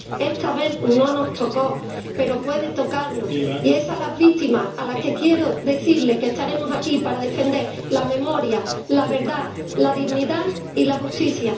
Esta vez no nos tocó, pero puede tocarnos y es a las víctimas a quienes quiero decirles que estaremos aquí para defender la memoria, la verdad, la dignidad y la justicia.